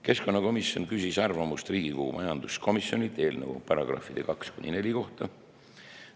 Keskkonnakomisjon küsis arvamust Riigikogu majanduskomisjonilt eelnõu §-de 2–4 kohta.